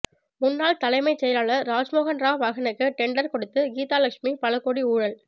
முன்னாள் தலைமை செயலாளர் ராமமோகன் ராவ் மகனுக்கு டெண்டர் கொடுத்து கீதாலட்சுமி பலகோடி ஊழல்